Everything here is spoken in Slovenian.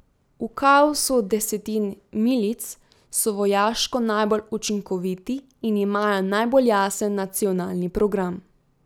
V kaosu desetin milic so vojaško najbolj učinkoviti in imajo najbolj jasen nacionalni program.